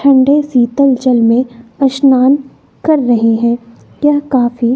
ठंडे शीतल जल में स्नान कर रहे हैं यह काफी--